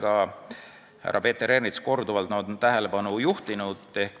Ka härra Peeter Ernits on sellele teemale korduvalt tähelepanu juhtinud.